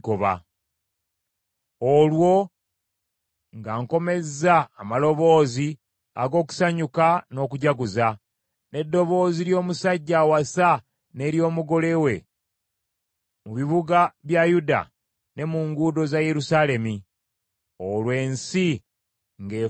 olwo nga nkomezza amaloboozi ag’okusanyuka n’okujaguza, n’eddoboozi ly’omusajja awasa n’ery’omugole we mu bibuga bya Yuda ne mu nguudo za Yerusaalemi, olwo ensi ng’efuuse matongo.